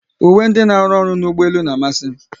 Uwe ndị n'aru ọrụ n'ụgbọelu n'amasi m